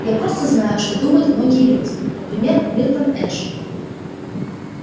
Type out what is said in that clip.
я просто знаю что думают многие люди например милтон эш